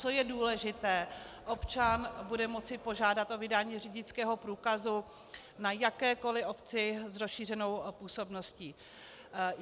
Co je důležité, občan bude moci požádat o vydání řidičského průkazu na jakékoliv obci s rozšířenou působností.